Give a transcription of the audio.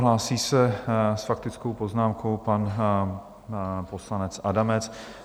Hlásí se s faktickou poznámkou pan poslanec Adamec.